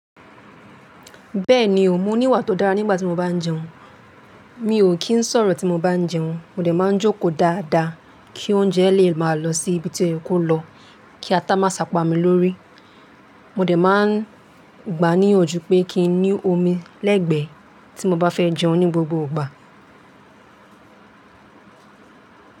Bẹ́ẹ̀ni o, mo ní ìwà tó dára nígbà tí mo bá jẹun. Mi ò kí ń sọ̀rọ̀ tí mo bá ń jẹun. Mo dẹ̀ máa jókòó dáadáa kí oúnjẹ lè máa lọ sí ibi tí ó ye kó lọ, kí ata má sá pami lórí. Mo dẹ̀ máa n gbà á níyànjú pé kí n ní omi lẹ́gbẹ̀ẹ́ tí mo bá fẹ́ jẹun ní gbogbo ìgbà.